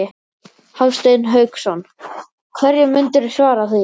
Hafsteinn Hauksson: Hverju myndirðu svara því?